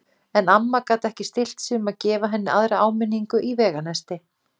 En amma gat ekki stillt sig um að gefa henni aðra áminn- ingu í veganesti.